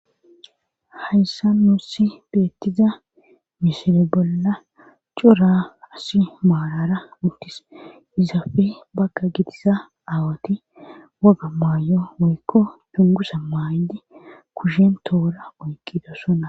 hayssa nuussi beettiza misile bolla cura asi maarara uttis izafe bagga gidisa aawati woga maayo woykko cungusa maaydi kushen toora oyqido sona